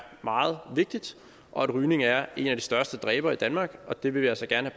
meget vigtig og at rygning er en af de største dræbere i danmark og det vil vi altså gerne